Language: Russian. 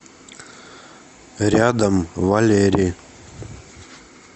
рядом валери